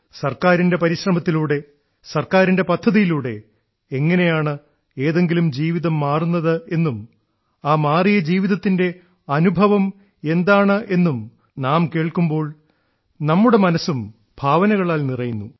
സർക്കാരിന്റെ പരിശ്രമത്തിലൂടെ സർക്കാരിന്റെ പദ്ധതിയിലൂടെ എങ്ങനെയാണ് ഏതെങ്കിലും ജീവിതം മാറുന്നതെന്നും ആ മാറിയ ജീവിതത്തിന്റെ അനുഭവം എന്താണെന്നും നാം കേൾക്കുമ്പോൾ നമ്മളുടെ മനസ്സും ഭാവനകളാൽ നിറയുന്നു